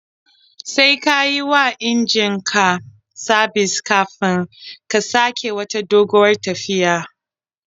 Sai ka yi wa injin ka sabis kafin ka sake wata doguwar tafiyar.